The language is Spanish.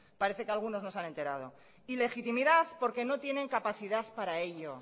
parece que algunos no se han enterado ilegitimidad porque no tienen capacidad para ello